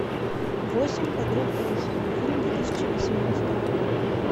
восемь подруг оушена фильм две тысячи восемнадцатого года